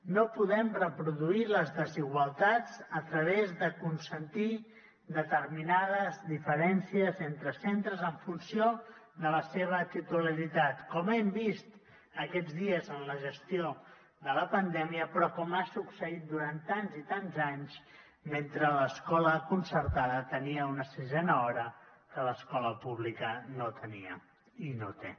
no podem reproduir les desigualtats a través de consentir determinades diferències entre centres en funció de la seva titularitat com hem vist aquests dies en la gestió de la pandèmia però com ha succeït durant tants i tants anys mentre l’escola concertada tenia una sisena hora que l’escola pública no tenia i no té